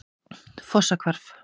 Fossahvarfi